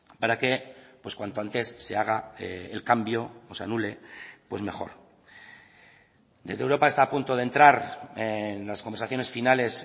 para que cuanto antes se haga el cambio o se anule pues mejor desde europa está a punto de entrar en las conversaciones finales